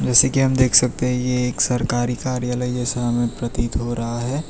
जैसे की हम देख सकते हैं ये एक सरकारी कार्यालय यैसा हमें प्रतीत हो रहा है।